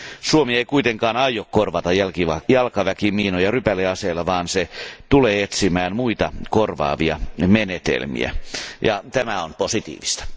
Suomi ei kuitenkaan aio korvata jalkaväkimiinoja rypäleaseilla vaan se tulee etsimään muita korvaavia menetelmiä, ja tämä on positiivista.